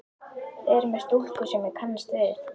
Þið eruð með stúlku sem ég kannast við!